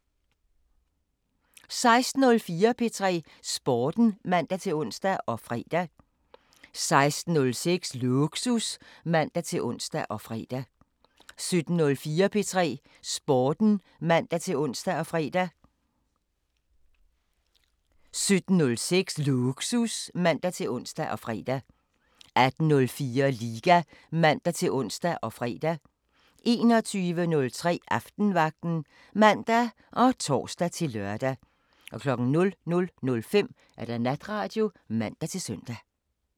16:04: P3 Sporten (man-ons og fre) 16:06: Lågsus (man-ons og fre) 17:04: P3 Sporten (man-ons og fre) 17:06: Lågsus (man-ons og fre) 18:04: Liga (man-ons og fre) 21:03: Aftenvagten (man og tor-lør) 00:05: Natradio (man-søn)